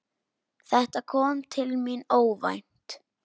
Þetta kom til mín óvænt.